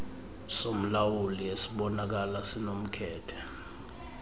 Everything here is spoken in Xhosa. somlawuli esibonakala sinomkhethe